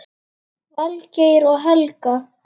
Valgeir og Helga.